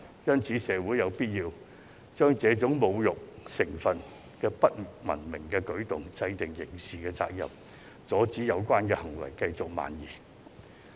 因此，社會有必要針對這種具侮辱成分的不文明舉動制定法例，列明刑事責任，阻止有關行為繼續蔓延。